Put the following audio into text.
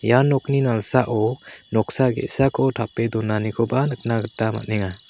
ia nokni nalsao noksa ge·sako tape donanikoba nikna gita man·enga.